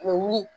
U bɛ wuli